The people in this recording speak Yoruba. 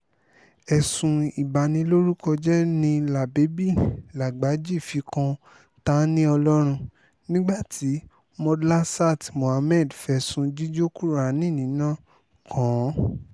ẹ̀sùn ìbanilórúkọjẹ́ ni la baby lagbájí fi kan ta-ni-ọlọ́run nígbà tí modlasat muhammad fẹ̀sùn jíjó kùránì níná kàn án